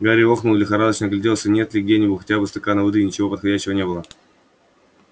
гарри охнул и лихорадочно огляделся нет ли где хотя бы стакана воды ничего подходящего не было